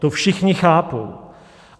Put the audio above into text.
To všichni chápou.